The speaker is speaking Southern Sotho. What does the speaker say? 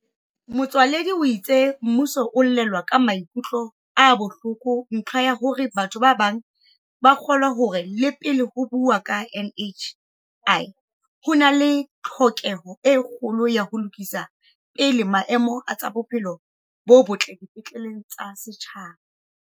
Motsoaledi o itse mmuso o elellwa ka maikutlo a bohloko ntlha ya hore batho ba bang ba kgolwa hore le pele ho buuwa ka NHI ho na le tlhoke ho e kgolo ya ho lokisa pele maemo a tsa bophelo bo botle dipetleng tsa setjhaba.